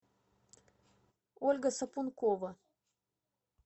ольга сапункова